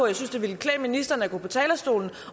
jeg synes det ville klæde ministeren at gå på talerstolen